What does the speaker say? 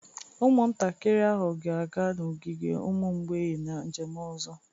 Ụmụntakịrị ahụ ga-aga n'ogige ụmụ mgbei na njem ọzọ